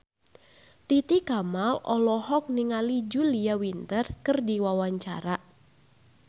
Titi Kamal olohok ningali Julia Winter keur diwawancara